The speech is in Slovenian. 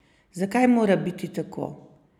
Zakaj mora biti tako?